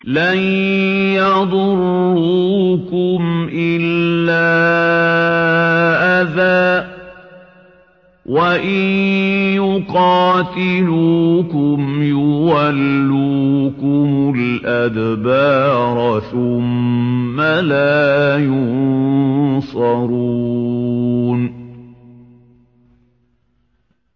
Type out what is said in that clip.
لَن يَضُرُّوكُمْ إِلَّا أَذًى ۖ وَإِن يُقَاتِلُوكُمْ يُوَلُّوكُمُ الْأَدْبَارَ ثُمَّ لَا يُنصَرُونَ